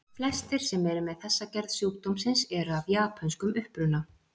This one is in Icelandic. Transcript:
Flestir sem eru með þessa gerð sjúkdómsins eru af japönskum uppruna.